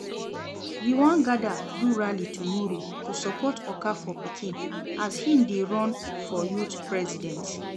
We wan gather do rally tomorrow to support Okafor pikin as he dey run for youth president